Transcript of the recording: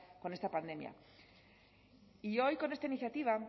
con esta pandemia y hoy con esta iniciativa